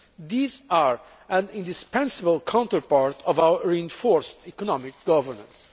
These are an indispensable counterpart of our reinforced economic governance.